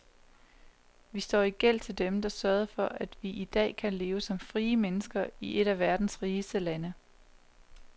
Vi står i gæld til dem, der sørgede for, at vi i dag kan leve som frie mennesker i et af verdens rigeste lande.